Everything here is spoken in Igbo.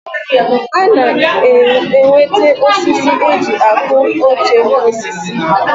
A na-enwete osisi e ji akụ oche N'osisi.